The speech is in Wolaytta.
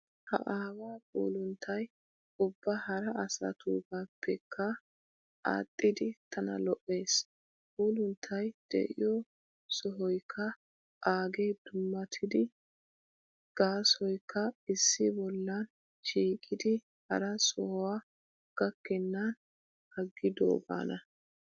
Ha aawaa puulunttay ubba hara asatugaappekka adhdhidi tana lo"ees. Puulunttay de'iyoo sohoykka aagee dummatidi gaasoykka issi bollan shiiqidi hara sohuwaa gakkennan aggidoogaana.